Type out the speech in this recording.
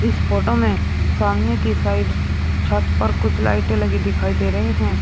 Photo में सामने की साइड छत पर कुछ लाइटे लगी दिखाई दे रहीं हैं।